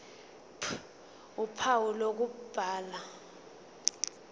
ph uphawu lokubhala